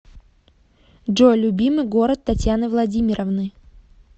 джой любимый город татьяны владимировны